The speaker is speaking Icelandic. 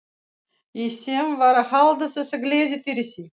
Ég sem var að halda þessa gleði fyrir þig!